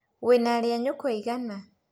Wĩna arĩ a nyũkwa aigana?